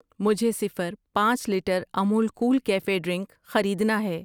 مجھے صفر. پانچ litre Amul Kool cafe drink خریدنا ہے۔